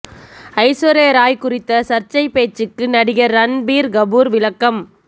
ஐஸ்வர்யா ராய் குறித்த சர்ச்சை பேச்சுக்கு நடிகர் ரன்பீர் கபூர் விளக்கம்